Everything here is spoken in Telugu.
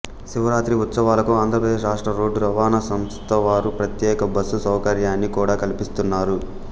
శివరాత్రి ఉత్సవాలకు ఆంధ్రప్రదేశ్ రాష్ట్ర రోడ్డు రవాణా సంస్థవారు ప్రత్యేక బస్సు సౌకర్యాన్ని కూడా కల్పిస్తున్నారు